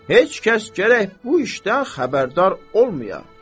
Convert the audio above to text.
Heç kəs gərək bu işdən xəbərdar olmaya.